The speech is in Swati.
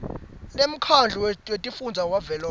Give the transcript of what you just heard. lemkhandlu wetifundza wavelonkhe